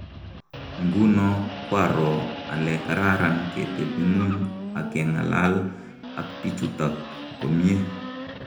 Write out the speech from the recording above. Nguno kwaroo ale kararan ketepunguny ak kengalal ak pichutak komnyie.